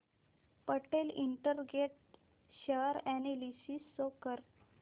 Patel integrate share analysis show कर